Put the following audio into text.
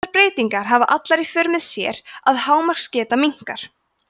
þessar breytingar hafa allar í för með sér að hámarksgeta minnkar